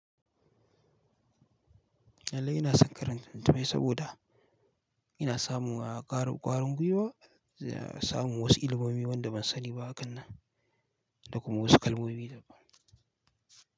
Lallai ina son karanta littattafai saboda ina samun ƙaran kwarin gwiwa, samun wasu ilimomi wanda ban sani ba a kan nan da kuma wasu kalmomi.